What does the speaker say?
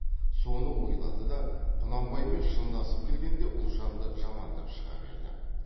соны ойлады да құнанбаймен шындасып келгенде ұлжанды жамандап шыға берді